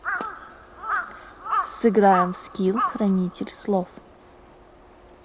сыграем в скилл хранитель слов